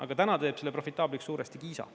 Aga täna teeb selle profitaabliks suuresti Kiisa.